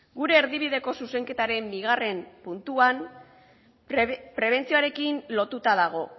gure erdibideko zuzenketaren bigarren puntuan prebentzioarekin lotuta dago